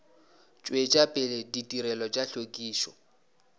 tšwetša pele ditirelo tša hlwekišo